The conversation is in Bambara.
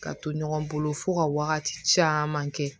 Ka to ɲɔgɔn bolo fo ka wagati caman kɛ